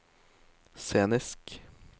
scenisk